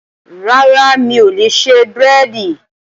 Rárá, mi ò lè ṣe búrẹ́dì